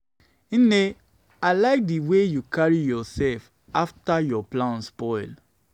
nne i like the way you dey carry dey carry yourself after your plan spoil.